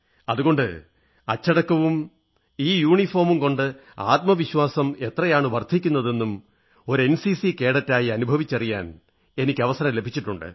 അതുകൊണ്ട് അച്ചടക്കവും ഈ യൂണിഫോമും കൊണ്ട് ആത്മവിശ്വാസം എത്രയാണു വർധിക്കുന്നതെന്നും ഒരു എൻസിസി കേഡറ്റായി അനുഭവിച്ചറിയാൻ എനിക്ക് അവസരം ലഭിച്ചിട്ടുണ്ട്